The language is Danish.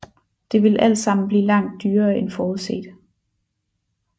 Det ville altsammen blive langt dyrere end forudset